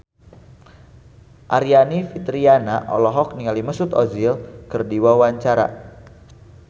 Aryani Fitriana olohok ningali Mesut Ozil keur diwawancara